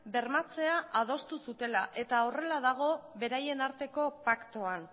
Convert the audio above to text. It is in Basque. bermatzea adostu zutela eta horrela dago beraien arteko paktuan